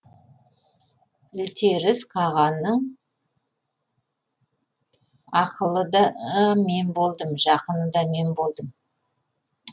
ілтеріс қағанның ақылы да мен болдым жақыны да мен болдым